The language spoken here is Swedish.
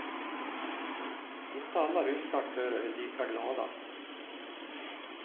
Inte alla ryska aktörer är lika glada.